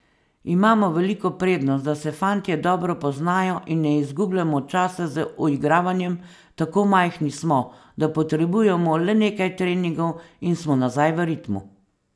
Imamo veliko prednost, da se fantje dobro poznajo in ne izgubljamo časa z uigravanjem, tako majhni smo, da potrebujemo le nekaj treningov in smo nazaj v ritmu.